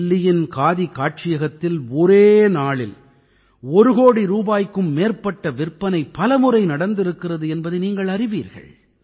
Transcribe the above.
தில்லியின் காதி காட்சியகத்தில் ஒரே நாளில் ஒரு கோடி ரூபாய்க்கும் மேற்பட்ட விற்பனை பலமுறை நடந்திருக்கிறது என்பதை நீங்கள் அறிவீர்கள்